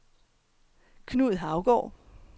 Knud Haugaard